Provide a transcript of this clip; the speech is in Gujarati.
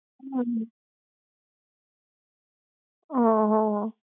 હમ હ! હ!